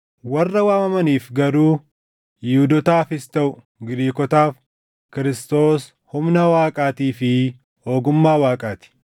warra waamamaniif garuu Yihuudootaafis taʼu Giriikotaaf Kiristoos humna Waaqaatii fi ogummaa Waaqaa ti.